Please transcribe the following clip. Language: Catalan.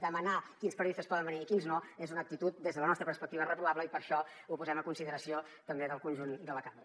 demanar quins periodistes poden venir i quins no és una actitud des de la nostra perspectiva reprovable i per això ho posem a consideració també del conjunt de la cambra